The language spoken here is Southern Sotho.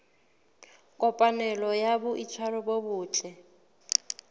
kopanelo ya boitshwaro bo botle